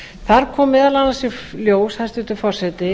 þar kom meðal annars í ljós hæstvirtur forseti